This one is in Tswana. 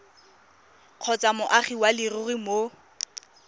kgotsa moagi wa leruri mo